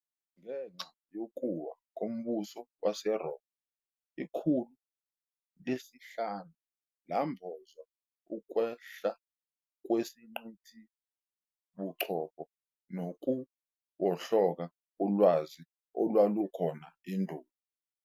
Ngenxa yokuwa kombuso waseRoma, ikhulu lesi-5 lambozwa ukwehla kwezingqithabuchopho nokuwohloka kolwazi olwalukhona endulo.